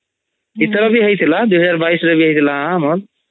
ଈଥର ବି ହଇଥିଲା 2022 ରେ ହଇଥିଲା ଆମର୍